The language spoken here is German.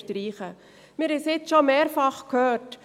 Wir haben es jetzt schon mehrfach gehört: